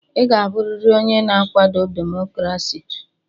Ị ga-abụrịrị onye na-akwado demokrasi!